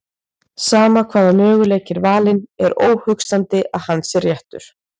Sama hvaða möguleiki er valinn er óhugsandi að hann sé réttur.